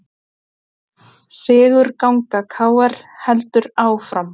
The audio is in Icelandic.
Sigurganga KR heldur áfram